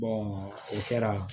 o kɛra